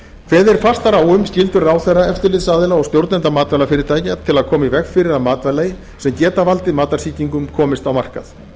kveðið er fastar á um skyldur ráðherra eftirlitsaðila og stjórnenda matvælafyrirtækja til að koma í veg fyrir að matvæli sem geta valdið matarsýkingum komist á markað